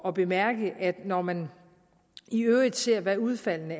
at bemærke at når man i øvrigt ser hvad udfaldene